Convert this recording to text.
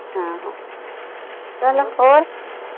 ਆਹੋ ਚਲ ਹੋਰ